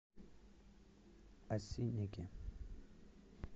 осинники